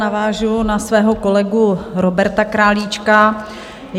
Navážu na svého kolegu Roberta Králíčka.